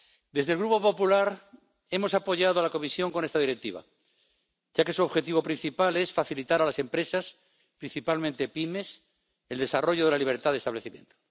Desde el Grupo Popular hemos apoyado a la Comisión con esta Directiva, ya que su objetivo principal es facilitar a las empresas, principalmente pymes, el desarrollo de la libertad de establecimiento.